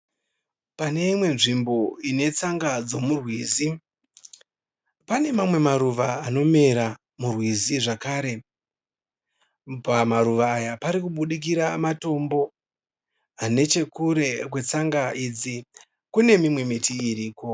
Pane imwe nzvimbo ine tsanga dzemurwizi. Pane mamwe maruva anomera murwizi zvakare , pamaruva aya pari kubudikira matombo nechekure kwetsanga idzi kune mimwe miti iriko